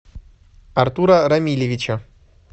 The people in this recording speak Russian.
артура рамилевича